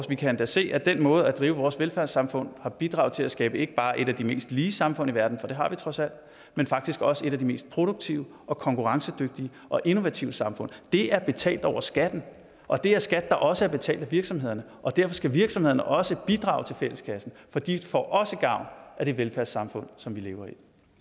vi kan endda se at den måde vi vort velfærdssamfund har bidraget til at skabe ikke bare et af de mest lige samfund i verden for det har vi trods alt men faktisk også et af de mest produktive og konkurrencedygtige og innovative samfund det er betalt over skatten og det er skat der også er betalt af virksomhederne derfor skal virksomhederne også bidrage til fælleskassen for de får også gavn af det velfærdssamfund som vi lever